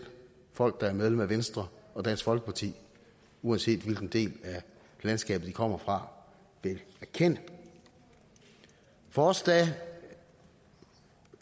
folk der er medlem af venstre og dansk folkeparti uanset hvilken del af landskabet de kommer fra erkende for os